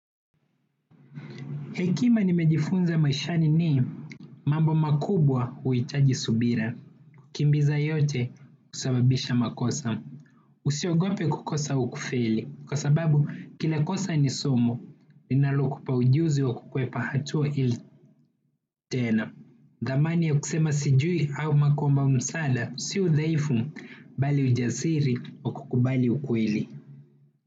Hekima nimejifunza maishani ni mambo makubwa huhitaji subira. Kimbiza yote husababisha makosa. Usiogope kukosa au kufeli kwa sababu, kila kosa ni somo, linalokupa ujuzi wa kukwepa hatua hili tena. Dhamani ya kusema sijui au kuomba msaada, si udhaifu, bali ujasiri wa kukubali ukweli.